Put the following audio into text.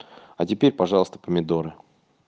а теперь пожалуйста помидоры